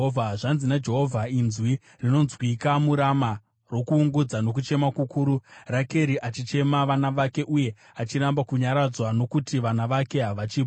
Zvanzi naJehovha: “Inzwi rinonzwikwa muRama, rokuungudza nokuchema kukuru, Rakeri achichema vana vake uye achiramba kunyaradzwa, nokuti vana vake havachipo.”